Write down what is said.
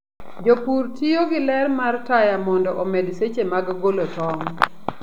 Jopur tiyo gi ler mar taya mondo omed seche mag golo tong.